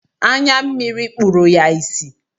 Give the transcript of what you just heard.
Anya mmiri kpụrụ ya ịsị.